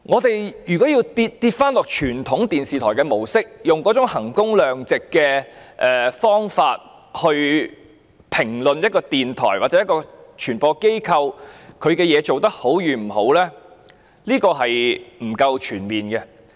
因此，如果要沿用傳統電視台模式，而以衡工量值的方式來評估一個電台或傳播機構的工作表現，這並不全面。